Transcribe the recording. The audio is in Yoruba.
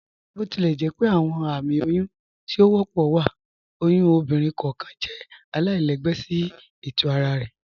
Botilẹjẹpẹ awọn ààmì oyún tí o wọ́pọ̀ wa, oyún ọ̀bìnrin kọọkan jẹ̀ àlàilẹ̀gbẹ̀ sí ètò ara rẹ.